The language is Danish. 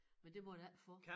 Men det måtte jeg ikke få